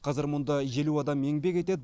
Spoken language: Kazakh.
қазір мұнда елу адам еңбек етеді